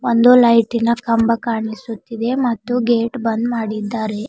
ಒಂದು ಲೈಟಿ ನ ಕಂಬ ಕಾಣಿಸುತ್ತಿದೆ ಮತ್ತು ಗೇಟ್ ಬಂದ್ ಮಾಡಿದ್ದಾರೆ.